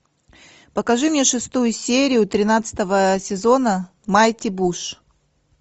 покажи мне шестую серию тринадцатого сезона майти буш